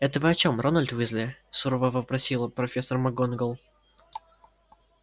это вы о чем рональд уизли сурово вопросила профессор макгонагалл